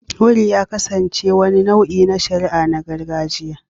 Cowries ya kasance wani nau'i na shari'a na gargajiya